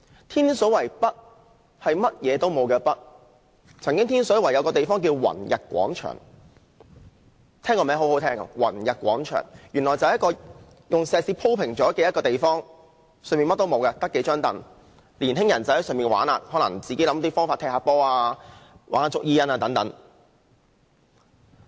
天水圍北甚麼也沒有，但天水圍有一個地方叫宏逸廣場，很動聽的名字，卻只是一片石屎地，除了數張椅便甚麼也沒有，青年人可能會在那裏踢波或玩捉迷藏。